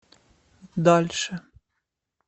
дальше